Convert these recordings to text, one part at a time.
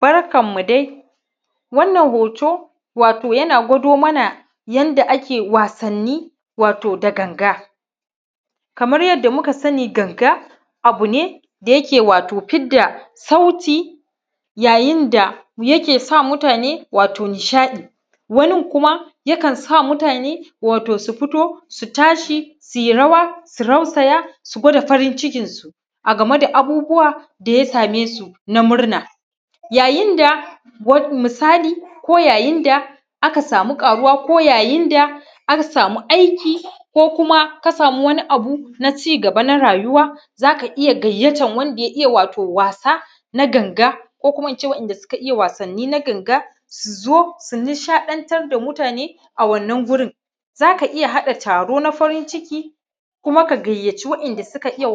Barkanmu dai wato wa shina hoto yana gwado mana yadda ake wasanni wato da ganga kama yadda muka sina ganga abune da yeke fida sauti yayin da yake sa mutane wato nishaɗi wannin kuma wato yakan sa mutane wato su fito su yi rawa su rasaya su gwada farin cikin su a game da wato abubbuwa ya same su na murna yayin da misali yayin da aka samu ƙaruwa ko yayin da aka samu akiri ko wannin abu ne na cigaba na rayuwa za ka iya gayyatan wannin me yin wasa na ganga ko ko in ce waɗanda suka iya wasanni na ganga su zo su nishaɗantar da mutane a wannin wurin zaka iya hada taro na farin cikin koma ka gayyaci waɗanda suka iya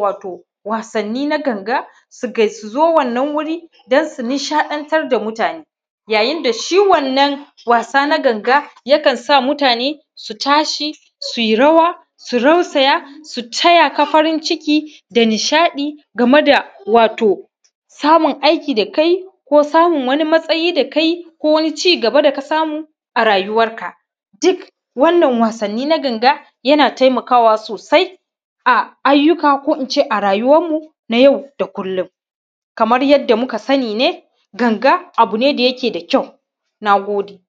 wasanni na ganga su zo wannin wurin don su nishaɗantar da muatane ya yin da shi wannan wasa na ganga yakan sa mutane su tashi su yi rawa su rasaya su taya farin cikin da nishaɗi game da wato samu aiki da ka yi ko samu wannin matasayi da ka yi ko wannin cigaba da ka samu a rayuwanka dukkan wannin wasanni na ganga yana taimakawa sawa na ayyuaka ko in ce a rayuwanmu na yau da kullum kamar yadda muka sani ne ganga abu ne da yake da ƙayi na gode